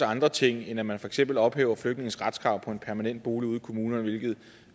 andre ting end at man for eksempel ophæver flygtninges retskrav på en permanent bolig ude i kommunerne hvilket